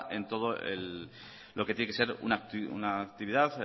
en todo lo que tiene que ser una actividad